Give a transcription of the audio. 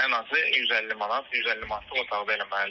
Ən azı 150 manat, 150 manatlıq otaqda eləməlidir.